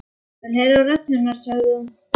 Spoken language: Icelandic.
Ég vil heyra rödd hennar, sagði hún.